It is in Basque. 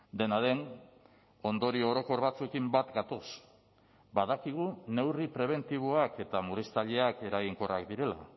dena den ondorio orokor batzuekin bat gatoz badakigu neurri prebentiboak eta murriztaileak eraginkorrak direla